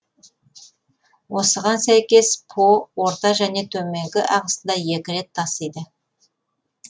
осыған сәйкес по орта және төменгі ағысында екі рет тасиды